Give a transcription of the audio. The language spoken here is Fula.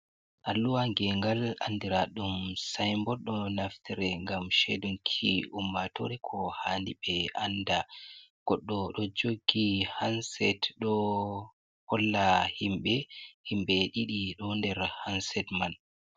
Alluha gengal andira ɗum signboard. Ɗo naftire ngam shedunki ummatore ko haani ɓe anda. Goɗɗo ɗo jogi handset ɗo holla himɓe, himɓe didi ɗo nder handset man.